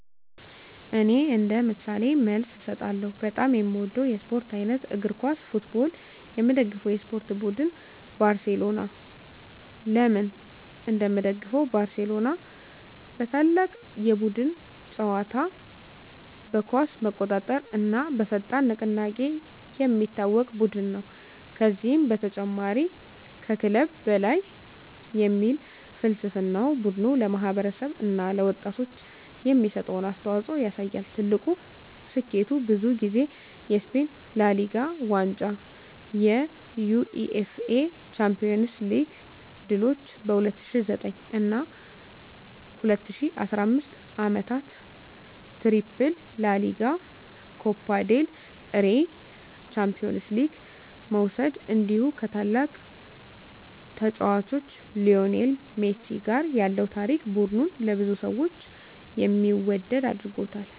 እኔ እንደ ምሳሌ መልስ እሰጣለሁ፦ በጣም የምወደው የስፖርት አይነት: እግር ኳስ (Football) የምደግፈው የስፖርት ቡድን: ባርሴሎና (FC Barcelona) ለምን እንደምደግፈው: ባርሴሎና በታላቅ የቡድን ጨዋታ (tiki-taka)፣ በኳስ መቆጣጠር እና በፈጣን ንቅናቄ የሚታወቅ ቡድን ነው። ከዚህ በተጨማሪ “Mes que un club” (ከክለብ በላይ) የሚል ፍልስፍናው ቡድኑ ለማህበረሰብ እና ለወጣቶች የሚሰጠውን አስተዋፅኦ ያሳያል። ትልቁ ስኬቱ: ብዙ ጊዜ የስፔን ላ ሊጋ ዋንጫ የUEFA ቻምፒዮንስ ሊግ ድሎች በ2009 እና 2015 ዓመታት “ትሪፕል” (ላ ሊጋ፣ ኮፓ ዴል ሬይ፣ ቻምፒዮንስ ሊግ) መውሰድ እንዲሁ ከታላቁ ተጫዋች ሊዮኔል ሜሲ ጋር ያለው ታሪክ ቡድኑን ለብዙ ሰዎች የሚወደድ አድርጎታል።